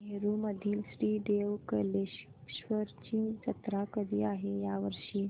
नेरुर मधील श्री देव कलेश्वर ची जत्रा कधी आहे या वर्षी